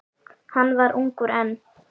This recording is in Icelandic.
Hann var ungur enn.